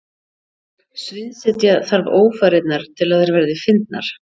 sviðsetja þarf ófarirnar til að þær verði fyndnar